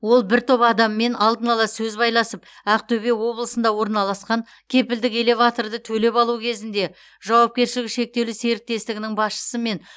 ол бір топ адаммен алдын ала сөз байласып ақтөбе облысында орналасқан кепілдік элеваторды төлеп алу кезінде жауапкершілігі шектеулі серіктестігінің басшысы мен